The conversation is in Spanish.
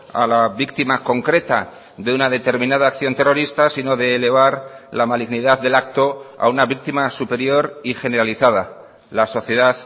a la víctima concreta de una determinada acción terrorista sino de elevar la malignidad del acto a una víctima superior y generalizada la sociedad